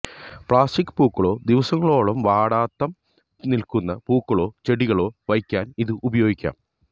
plastic പൂക്കളോ ദിവസങ്ങളോളം വാടാതം നിൽക്കുന്ന പൂക്കളോ ചെടികളോ വയ്ക്കാൻ ഇത് ഉപയോഗിക്കാം